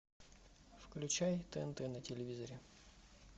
включай тнт на телевизоре